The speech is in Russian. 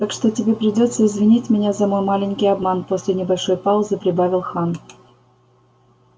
так что тебе придётся извинить меня за мой маленький обман после небольшой паузы прибавил хан